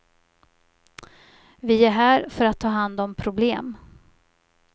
Vi är här för att ta hand om problem.